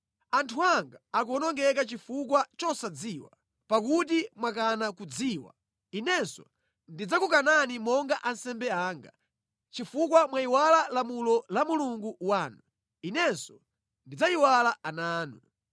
Anthu anga akuwonongeka chifukwa chosadziwa. “Pakuti mwakana kudziwa, Inenso ndidzakukanani monga ansembe anga; chifukwa mwayiwala lamulo la Mulungu wanu, Inenso ndidzayiwala ana anu.